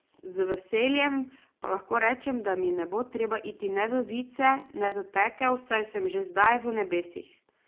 Z veseljem pa lahko rečem, da mi ne bo treba iti ne v vice ne v pekel, saj sem že zdaj v nebesih.